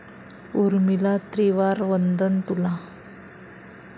उर्मिला त्रिवार वंदन तुला